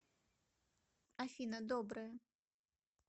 афина доброе